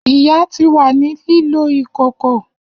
Iya ti wa ni lilo ìkòkò.